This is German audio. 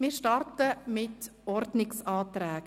Wir starten mit den Ordnungsanträgen.